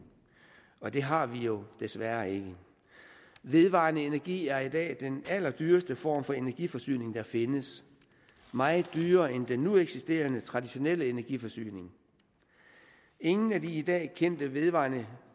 og det har vi desværre ikke vedvarende energi er i dag den allerdyreste form for energiforsyning der findes meget dyrere end den nu eksisterende traditionelle energiforsyning ingen af de i dag kendte vedvarende